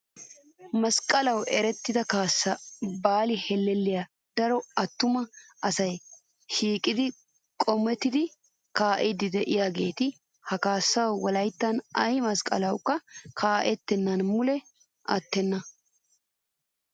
Masqqalawu erettida kaassaa baali hellelliyaa daro attuma asayi shiiqidi qomettidi kaa'iiddi diyaageeta. Ha kaassayi wolayittan ayi masqqalawukka kaa'ettennan mule attenna.